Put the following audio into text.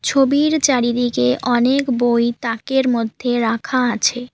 ছবির চারিদিকে অনেক বই তাকের মধ্যে রাখা আছে।